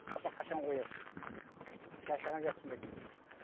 папа қашан қоясың шаршаған жоқсың ба дейді